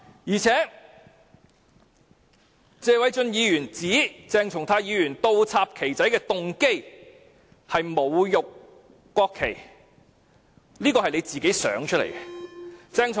再者，謝偉俊議員指鄭松泰議員倒插"旗仔"的動機是侮辱國旗，這全是他的臆測。